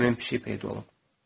Sonra isə həmin pişik peyda olub.